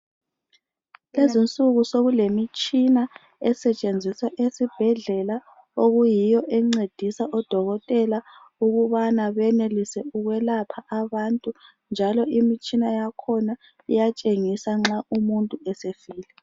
Lezinsuku sokulemitshina esetshenziswa esibhedlela okuyiyo encedisa odokotela ukubana benelise ukwelapha abantu njalo imitshina yakhona iyatshengisa nxa umuntu esefile.